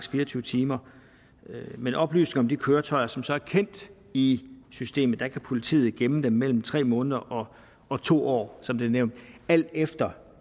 tyve timer men oplysninger om de køretøjer som så er kendt i systemet kan politiet gemme mellem tre måneder og to år som det er nævnt alt efter